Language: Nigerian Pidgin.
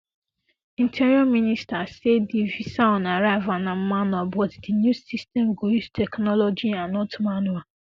interior minister sa di visa on arrival na manual but di new system go use technology and not manual